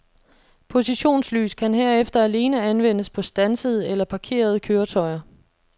Positionslys kan herefter alene anvendes på standsede eller parkerede køretøjer.